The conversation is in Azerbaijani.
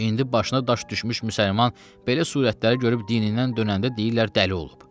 İndi başına daş düşmüş müsəlman belə surətləri görüb dinindən dönəndə deyirlər dəli olub.